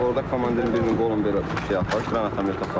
Orda komandirin birinin qolunu belə şey aparıb, qranamyot aparıb.